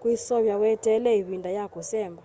kwiseovya weteele ivinda ya kũsemba